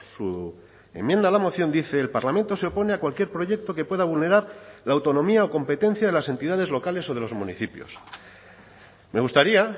su enmienda a la moción dice el parlamento se opone a cualquier proyecto que pueda vulnerar la autonomía o competencia de las entidades locales o de los municipios me gustaría